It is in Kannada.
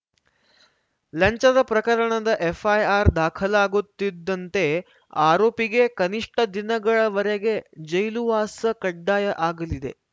ಲಂಚದ ಪ್ರಕರಣದ ಎಫ್‌ಐಆರ್‌ ದಾಖಲಾಗುತ್ತಿದ್ದಂತೆ ಆರೋಪಿಗೆ ಕನಿಷ್ಠ ದಿನಗಳವರೆಗೆ ಜೈಲುವಾಸ ಕಡ್ಡಾಯ ಆಗಲಿದೆ